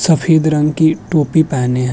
सफेद रंग की टोपी पहने है।